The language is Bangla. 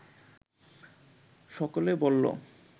সকলে বলল